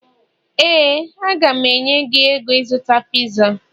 éè, a ga m enye gị ego ịzụta piza